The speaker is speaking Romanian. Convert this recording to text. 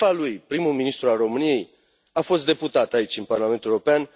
Șefa lui, prim ministrul României, a fost deputat aici, în Parlamentul European.